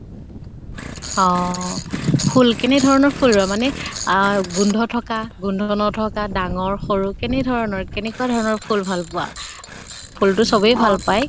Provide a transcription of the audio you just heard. অহ ফুল, কেনেক ধৰণৰ ফুল ৰোৱা মানে আহ গোন্ধ থকা, গোন্ধ নথকা, ডাঙৰ সৰু কেনে ধৰণৰ, কেনেকুৱা ধৰণৰ ফুল ভাল পোৱা? ফুল তো চবে ভাল পায়।